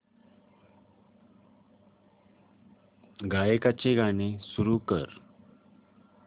गायकाचे गाणे सुरू कर